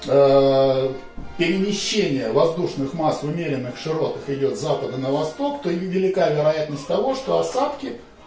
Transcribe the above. ээ перемещение воздушных масс в умеренных широтах идёт с запада на восток то и не велика вероятность того что осадки